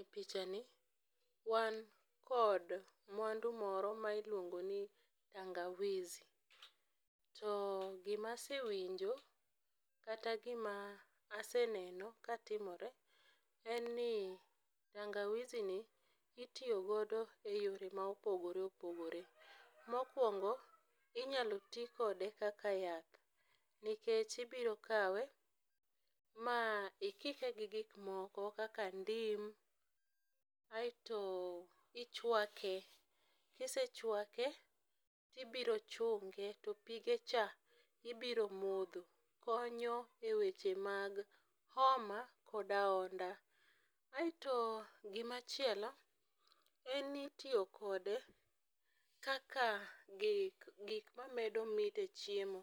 E pichani wan kod mwandu moro ma iluongo ni tangawizi. To gima asewinjo kata gima aseneno ka timore en ni, tangawizi ni itiyo godo e yore ma opogore opogore. Mokwongo inyalo ti kode kaka yath. Nikech, ibiro kawe, ma ikike gi gik moko kaka ndim, aeto ichwake, Kisechwake tibiro chunge to pie cha ibiro modho. Konyo e weche mag homa kod ahonda. Aeto, gimachielo, en ni itiyo kode kaka gik gik mamedo mit e chiemo.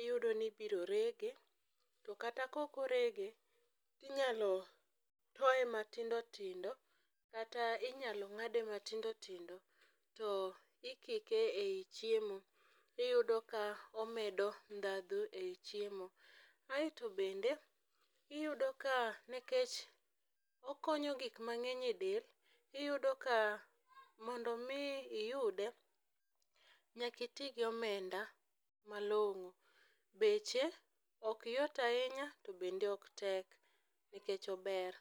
Iyudo ni ibiro rege, to kata ka ok orege, to inyalo toye matindo tindo, kata inyalo ng'ade matindo tindo, to ikike ei chiemo. Iyudo ka omedo ndhadhu ei chiemo. Aeto bende iyudo ka nikech okonyo gik mang'eny e del, iyudo ka mondo omi iyude, nyaka iti gi omenda malong'o. Beche ok yot ahinya, to bende on tek nikech ober.